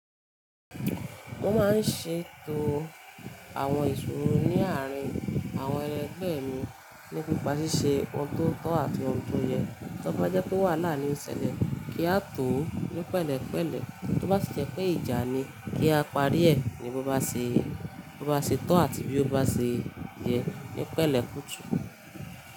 Mo máa ń ṣètò àwọn èṣù rí ní àárín àwọn ẹgbẹ́ mi nípa ṣíṣe ọ̀dọ́ tọ́ àti ọ̀dọ́ yẹ. Tí ọ bá jẹ́ pé wàhálà ni ó ń ṣẹlẹ̀, kí á tọ̀ ọ́ ní pẹ̀lẹ́pẹ̀lẹ́. Tí ọ bá ṣe jẹ́ pé ìjà ni, kí á parí ẹ̀ ní bí ọ bá ṣe, bí ọ bá ṣe tọ́ àti bí ọ bá ṣe yẹ ní pẹ̀lẹ́ kùtù.